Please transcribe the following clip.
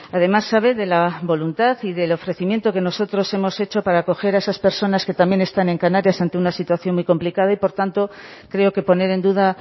además sabe de la voluntad y del ofrecimiento que nosotros hemos hecho para acoger a esas personas que también están en canarias ante una situación muy complicada y por tanto creo que poner en duda